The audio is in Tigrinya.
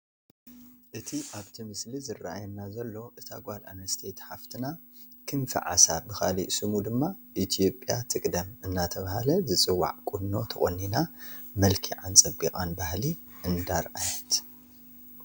እቲ ኣብቲ ምስሊ ዝራኣየና ዘሎ እታ ጓል ኣነስተይቲ ሓፍትና ክንፊዓሳ ብኻሊእ ስሙ ድማ ኢትዮጵያ ትቅደም እናተባህለ ዝፅዋዕ ቁኖ ተቆኒና መልኪዓን ፀቢቓን ባህሊ እንዳርአየት፡፡